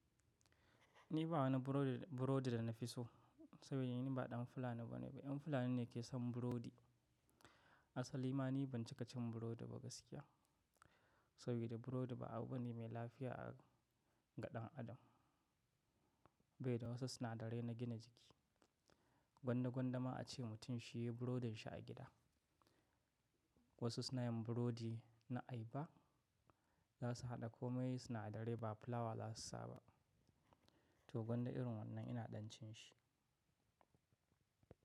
Ni ba wani burodi, burodi da na fi so saboda ni ba ɗan fulani bane ba. Yan fulani ne ke son burodi. Asali ma ni ban cika cin burodi ba gaskiya, saboda burodi ba abune mai lafiya a ga dan adam. Baida wasu sunadarai na gina jiki. Gwanda gwanda ma ace mutum shi yi burodin shi a gida. Wasu suna yin burodi na ayaba, za su haɗa komai sunadarai ba fulawa za su sa ba. To gwanda irin wannan ina ɗan cin shi.